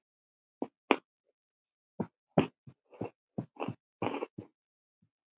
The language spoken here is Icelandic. En hvers vegna Ljósið?